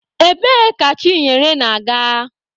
Ebee ka Chinyere na-aga?